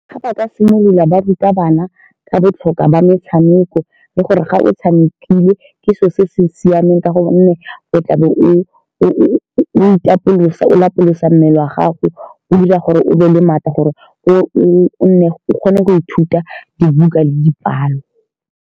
Ga ba ka simolola baruta bana ka botlhokwa ba metshameko, le gore ga o tshamekile ke selo se se siameng ka gonne o tlabe o-o-o itapolosa, o lapolosa mmele wa gago. O 'ira gore o be le maatla gore o-o-o nne o kgone go ithuta dibuka le dipalo.